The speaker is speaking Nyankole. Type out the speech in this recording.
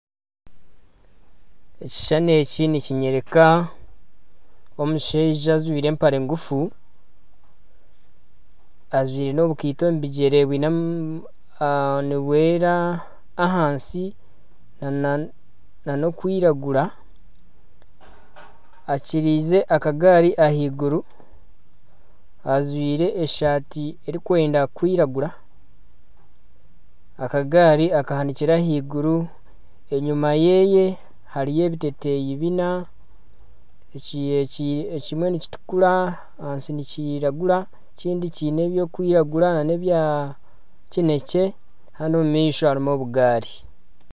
Ekishushani eki nikinyoreka omushaija ajwaire empare nguufu ajwaire n'ekaito omu bigyere nibwera ahansi nana okwiragura akyirize akagaari ahaiguru ajwaire esaati erikwenda kwiragura. Ekagaari akahanikire ahaiguru enyuma yeeye hariyo ebiteteeyi bina ekimwe nikitukuura ahansi nikiragura ekindi kyiine ebirikwiragura nana ebya kinekye haanu omumaisho harimu obugaari.